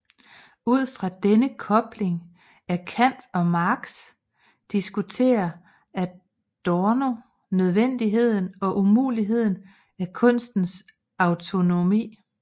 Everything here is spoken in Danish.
Ud fra denne kobling af Kant og Marx diskuterer Adorno nødvendigheden og umuligheden af kunstens autonomi